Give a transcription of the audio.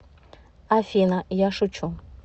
афина я шучу